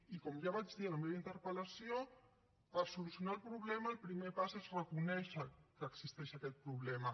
i com ja vaig dir a la meva interpel·lació per solucionar el problema el primer pas és reconèixer que existeix aquest problema